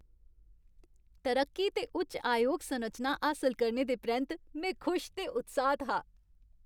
तरक्की ते उच्च आयोग संरचना हासल करने दे परैंत्त, में खुश ते उत्साह्त हा।